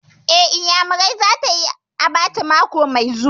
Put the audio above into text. Eh, Iyamurar za ta yi abacha mako mai zuwa